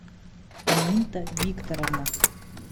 аминта викторовна